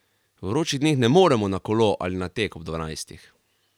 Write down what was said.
V vročih dneh ne moremo na kolo ali na tek ob dvanajstih.